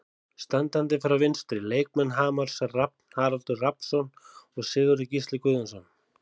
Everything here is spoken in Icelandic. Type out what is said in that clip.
Standandi frá vinstri: Leikmenn Hamars, Rafn Haraldur Rafnsson og Sigurður Gísli Guðjónsson.